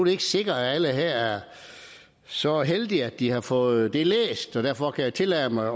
ikke sikkert at alle her er så heldige at de har fået det læst og derfor kan jeg tillade mig